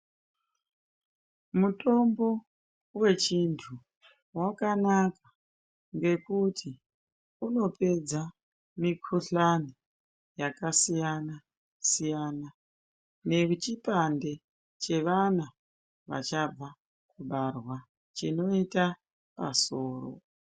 Mutombo wechintu wakanaka ngekuti unopedza mikuhlani yakasiyana-siyana nechipande chevana vachabva kubarwa chinoita pasoro.